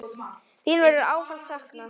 Þín verður ávallt saknað.